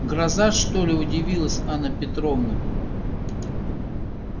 гроза что ли удивилась анна петровна